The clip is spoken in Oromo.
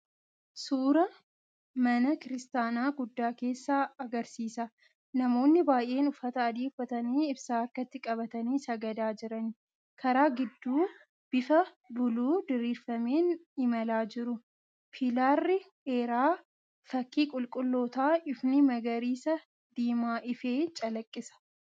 Suuraan mana kiristaanaa guddaa keessa agarsiisa. Namoonni baay’een uffata adii uffatanii ibsaa harkatti qabatanii sagada jiran. Karaa gidduu bifa buluu diriirfameen imalaa jiru. Pillaarri dheeraa, fakkii qulqullootaa, ifni magariisa diimaa‑ifee calaqisa.